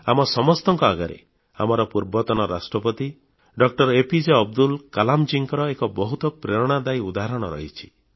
ଆମ ସମସ୍ତଙ୍କ ଆଗରେ ଆମର ପୂର୍ବତନ ରାଷ୍ଟ୍ରପତି ଡଃ ଏପିଜେ ଅବଦୁଲ କଲାମଙ୍କର ଏକ ବହୁତ ପ୍ରେରଣାଦାୟୀ ଉଦାହରଣ ରହିଛି